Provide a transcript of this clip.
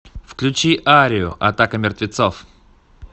включи арию атака мертвецов